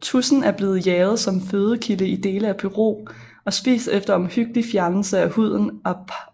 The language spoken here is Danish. Tudsen er blevet jaget som fødekilde i dele af Peru og spist efter omhyggelig fjernelse af huden